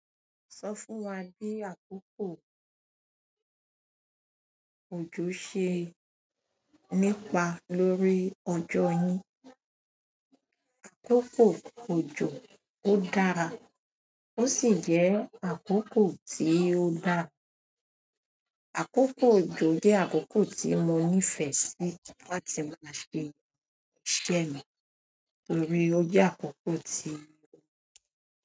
Sọ fún wá bí àkókò òjò ṣe nípa lórí ọjọ́ yín. Àkókò òjò ó dára, ó sì jẹ́ àkókò tí ó dára, àkókò òjò jẹ́ àkókò tí mo nífẹ́ sí láti máa ṣe iṣẹ́ mi, torí ó jẹ́ àkókò ti.